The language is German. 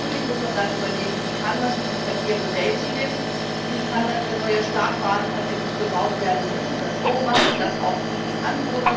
Natürlich muss man dann überlegen, wie kann man diesen Verkehr bewältigen, wie kann man, wenn tatsächlich neue Startbahnen gebaut werden müssen, es bewerkstelligen, dass auch die Anwohner